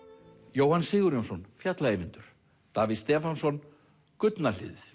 Jóhann Sigurjónsson fjalla Eyvindur Davíð Stefánsson gullna hliðið